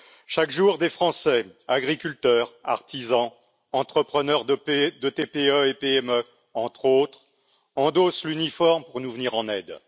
Chaque jour, des Français, agriculteurs, artisans, entrepreneurs de TPE et PME entre autres, endossent l'uniforme pour nous venir en aide.